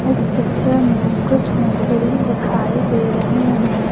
इस पिक्चर में कुछ मिस्त्री दिखाई दे रहे हैं।